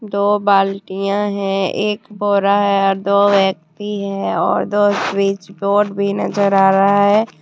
दो बाल्टिया है एक बोरा है और दो व्यक्ति है और दो स्विच बोर्ड भी नजर आ रहा है।